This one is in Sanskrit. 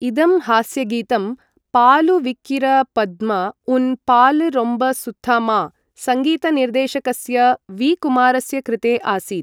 इदं हास्यगीतं पालु विक्किरा पद्म उन पालु रोम्बा सुथहामा?, संगीतनिर्देशकस्य वी. कुमारस्य कृते आसीत् ।